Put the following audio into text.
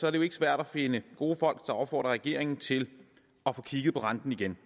er det jo ikke svært at finde gode folk der opfordrer regeringen til at få kigget på renten igen